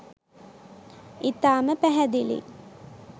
ඉතාම පැහැදිලියි.